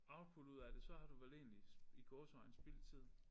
Output ud af det så har du vel egentlig i gåseøjne spildt tiden